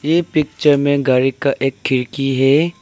ये पिक्चर में गाड़ी का एक खिड़की है।